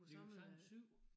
Vi kunne samle 7